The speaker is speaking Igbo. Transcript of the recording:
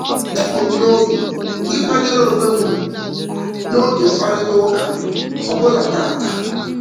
Ebu m n'obi ịkwanyere onwe m ugwu n'oge mkparịtaụka m ọbụla tata.